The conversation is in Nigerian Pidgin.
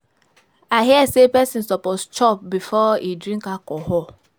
I hear sey pesin suppose chop before e drink alcohol.